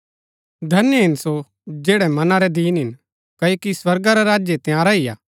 धन्य हिन सो जैड़ै मना रै दीन हिन क्ओकि स्वर्गा रा राज्य तंयारा ही हा